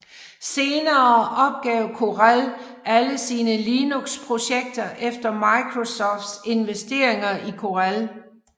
Senere opgav Corel alle sine Linux projekter efter Microsoft investeringer i Corel